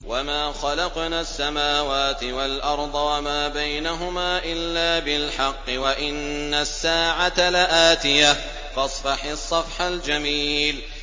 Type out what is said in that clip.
وَمَا خَلَقْنَا السَّمَاوَاتِ وَالْأَرْضَ وَمَا بَيْنَهُمَا إِلَّا بِالْحَقِّ ۗ وَإِنَّ السَّاعَةَ لَآتِيَةٌ ۖ فَاصْفَحِ الصَّفْحَ الْجَمِيلَ